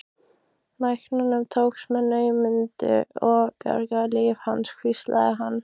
Læknunum tókst með naumindum að bjarga lífi hans hvíslaði hann.